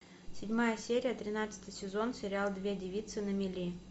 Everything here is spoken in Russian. седьмая серия тринадцатый сезон сериал две девицы на мели